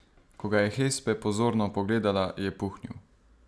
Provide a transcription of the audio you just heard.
Ko ga je Hespe pozorno pogledala, je puhnil.